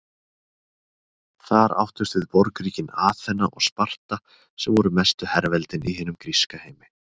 Þar áttust við borgríkin Aþena og Sparta sem voru mestu herveldin í hinum gríska heimi.